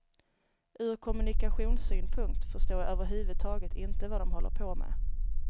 Ur kommunikationssynpunkt förstår jag överhuvudtaget inte vad de håller på med.